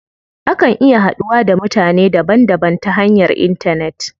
Akan iya haduwa da mutane daban daban ta hanyar intanet.